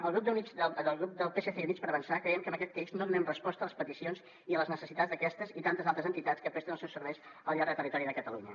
al grup del psc i units per avançar creiem que amb aquest text no donem resposta a les peticions i a les necessitats d’aquestes i tantes altres entitats que presten els seus serveis al llarg del territori de catalunya